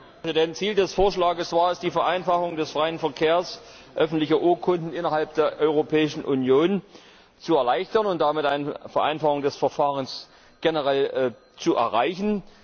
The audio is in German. Herr Präsident! Ziel des Vorschlags war es, die Vereinfachung des freien Verkehrs öffentlicher Urkunden innerhalb der Europäischen Union zu erleichtern und damit eine Vereinfachung des Verfahrens generell zu erreichen.